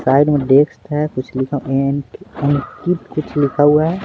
Side में desk है कुछ लिखा कुछ लिखा हुआ है।